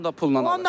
Onu da pulla.